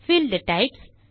field types